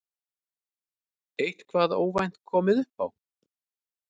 Eitthvað óvænt komið upp á?